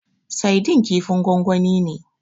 Saidin kifin gwangwani ne.